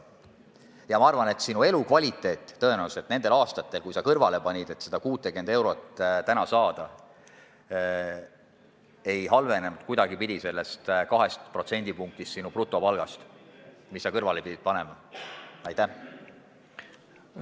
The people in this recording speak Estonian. Ja ma arvan, et sinu elukvaliteet nendel aastatel, kui sa kõrvale panid, et täna 60 eurot pensionilisa saada, selle 2% tõttu, mis sa oma brutopalgast kõrvale pidid panema, tõenäoliselt mitte kuidagi ei halvenenud.